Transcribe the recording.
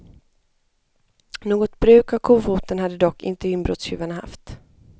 Något bruk av kofoten hade dock inte inbrottstjuvarna haft.